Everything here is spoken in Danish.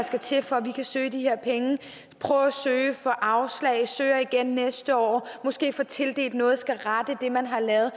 skal til for at man kan søge de her penge prøve at søge og få afslag søge igen næste år måske få tildelt noget skulle rette det man har lavet